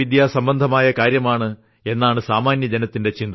സംബന്ധമായ കാര്യമാണ് എന്നാണ് സാമാന്യജനത്തിന്റെ ചിന്ത